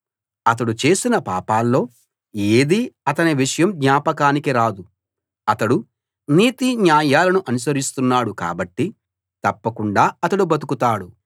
అతడు చేసిన పాపాల్లో ఏదీ అతని విషయం జ్ఞాపకానికి రాదు అతడు నీతిన్యాయాలను అనుసరిస్తున్నాడు కాబట్టి తప్పకుండా అతడు బతుకుతాడు